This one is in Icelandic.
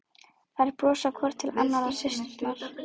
Þær brosa hvor til annarrar, systurnar.